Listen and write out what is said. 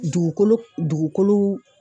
Dugukolo dugukolo